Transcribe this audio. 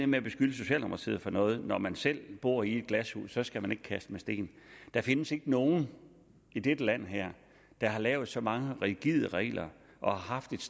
med at beskylde socialdemokratiet for noget når man selv bor i glashus skal man ikke kaste med sten der findes ikke nogen i dette land der har lavet så mange rigide regler og har haft et